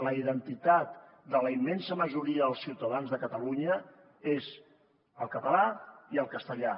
la identitat de la immensa majoria dels ciutadans de catalunya és el català i el castellà